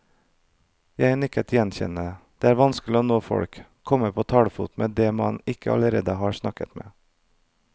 Jeg nikker gjenkjennende, det er vanskelig å nå folk, komme på talefot med de man ikke allerede har snakket med.